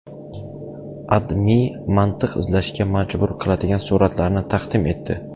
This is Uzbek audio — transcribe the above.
AdMe mantiq izlashga majbur qiladigan suratlarni taqdim etdi .